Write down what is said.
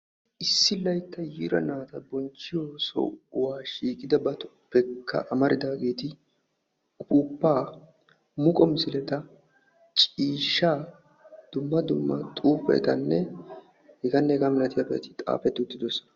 Issi laytta yiira naati bonchchiyo sohuwa shiiqidabatuppekka amaridageeti upuuppa, muqqo misileta, ciishshaa, dumma dumma xuufetanne heganne hega malatiyaabati xaafeti uttidoosona.